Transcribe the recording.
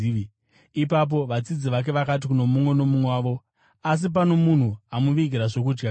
Ipapo vadzidzi vake vakati kuno mumwe nomumwe wavo, “Asi pano munhu amuvigira zvokudya kanhi?”